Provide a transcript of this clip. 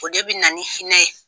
O de bɛ na ni hinɛ ye!